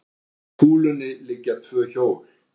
upp að kúlunni liggja tvö hjól